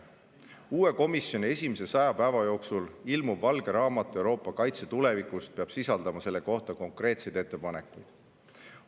Uue komisjoni esimese 100 päeva jooksul ilmuv valge raamat Euroopa kaitse tulevikust peab sisaldama selle kohta konkreetseid ettepanekuid.